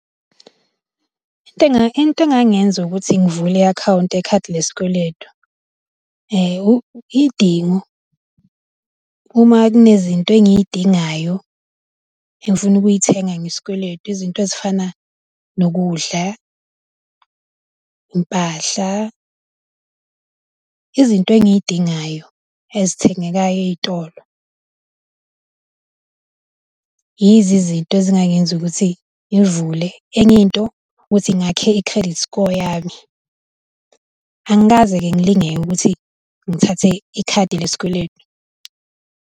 Into engange, into engangenza ukuthi ngivule i-account yekhadi lesikweletu iy'dingo uma kunezinto engiy'dingayo engifuna ukuyithenga ngesikweletu, izinto ezifana nokudla, impahla, izinto engiy'dingayo ezithengekayo ey'tolo. Yizizinto ezingangenza ukuthi ngivule. Enyinto ukuthi ngakhe i-credit score yami, angikaze-ke ngilingeke ukuthi ngithathe ikhadi lesikweletu.